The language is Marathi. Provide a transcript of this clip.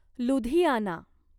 लुधियाना